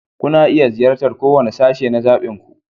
Kuna iya ziyartar kowane sashe na zaɓinku.